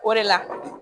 O de la